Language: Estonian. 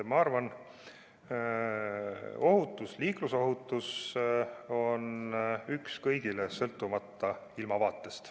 Ma arvan, et ohutus, liiklusohutus on üks kõigile, sõltumata ilmavaatest.